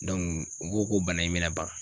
u ko ko bana in bɛ na ban